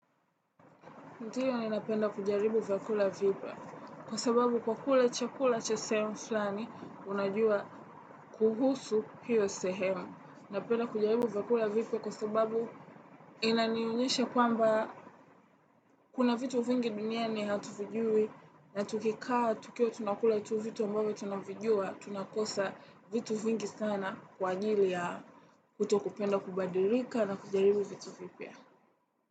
Ndio napenda kujaribu vyakula vipya kwa sababu kwa kula chakula cha sehemu fulani unajua kuhusu hio sehemu. Napenda kujaribu vyakula vipya kwa sababu inanionyesha kwamba kuna vitu vingi duniani hatuvijui na tukikaa tukiwa tunakula tu vitu ambavyo tunavijua tunakosa vitu vingi sana kwa ajili ya kuto kupenda kubadilika na kujaribu vitu vipya.